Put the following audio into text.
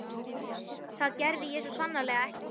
Það gerði ég svo sannarlega ekki.